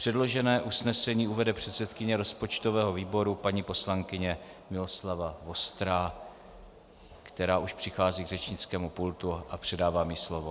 Předložené usnesení uvede předsedkyně rozpočtového výboru paní poslankyně Miloslava Vostrá, která už přichází k řečnickému pultu, a předávám ji slovo.